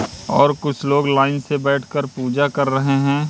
और कुछ लोग लाइन से बैठकर पूजा कर रहे हैं।